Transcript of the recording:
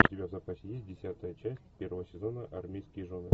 у тебя в запасе есть десятая часть первого сезона армейские жены